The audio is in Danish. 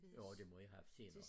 Jo det må i have haft senere